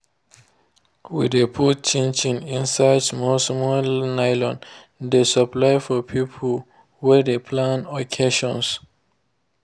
we de put chin chin inside small small nylon dey supply for people wey de plan occasions